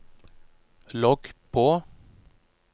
logg på